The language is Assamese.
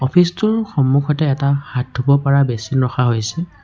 ফ্ৰিজ টোৰ সন্মুখতে এটা হাত ধুব পৰা বেচিন ৰখা হৈছে।